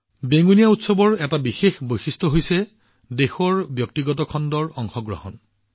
বেঙুনীয়া উৎসৱৰ আন এটা বিশেষ কথা হল ইয়াত দেশৰ ব্যক্তিগত খণ্ডৰ অংশগ্ৰহণ